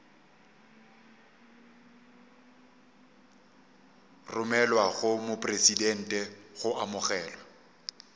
romelwa go mopresidente go amogelwa